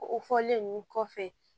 O fɔlen ninnu kɔfɛ